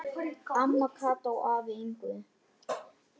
Amma Kata og afi Yngvi.